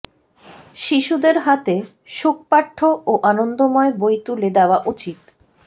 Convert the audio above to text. শিশুদের হাতে সুখপাঠ্য ও আনন্দময় বই তুলে দেওয়া উচিত